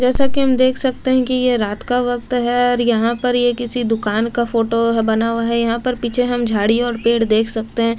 जैसा कि हम देख सकते हैं कि ये रात का वक्त है और यहां पर ये किसी दुकान का फोटो बना हुआ है यहां पर पीछे हम झाड़ी और पेड़ देख सकते--